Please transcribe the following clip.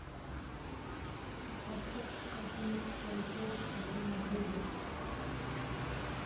поставь одиннадцатая часть один на вылет